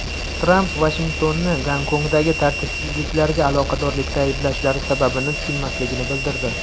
Tramp Vashingtonni Gonkongdagi tartibsizliklarga aloqadorlikda ayblashlari sababini tushunmasligini bildirdi.